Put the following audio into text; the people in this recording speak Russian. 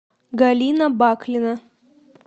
галина баклина